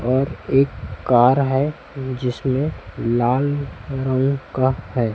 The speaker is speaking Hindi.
और एक कार है जिसमें लाल रंग का है।